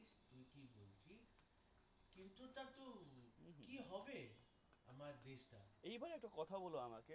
এইবার একটা কথা বল আমাকে